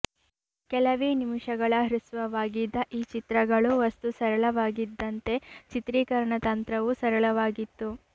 ಕೆಲವೇ ನಿಮಿಷಗಳ ಹ್ರಸ್ವವಾಗಿದ್ದ ಈ ಚಿತ್ರಗಳ ವಸ್ತು ಸರಳವಾಗಿದ್ದಂತೆ ಚಿತ್ರೀಕರಣತಂತ್ರವೂ ಸರಳವಾಗಿತ್ತು